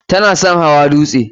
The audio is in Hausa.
Ta na son hawa dutse.